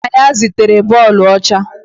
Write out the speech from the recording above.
Nna ya zụtara bọọbụ ọcha